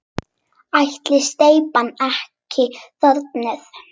Ætli steypan sé ekki þornuð?